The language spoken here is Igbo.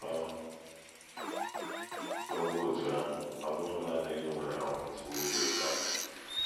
Ọ bụrụkwa otú ahụ, ọ bụghị nanị gị nwere um nsogbu dị otú ahụ.